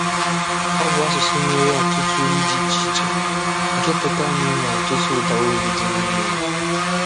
Ọ bụ asụsụ nwere ọtụtụ olu dị iche iche, nke pụtara na énwere ọtụtụ ụdáolu dị n'ime ya.